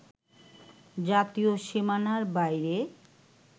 জাতীয় সীমানার বাইরে